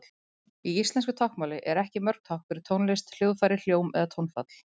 Í íslensku táknmáli eru ekki mörg tákn fyrir tónlist, hljóðfæri, hljóm eða tónfall.